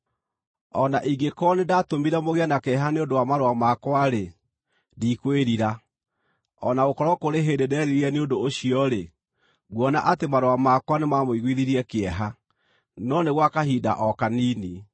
O na ingĩkorwo nĩndatũmire mũgĩe na kĩeha nĩ ũndũ wa marũa makwa-rĩ, ndikwĩrira. O na gũkorwo kũrĩ hĩndĩ nderirire nĩ ũndũ ũcio-rĩ, nguona atĩ marũa makwa nĩmamũiguithirie kĩeha, no nĩ gwa kahinda o kanini,